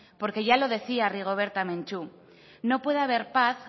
porque ya lo decía rigoberta menchú no puede haber paz